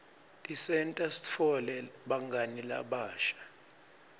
tisenta sitfole bangani labasha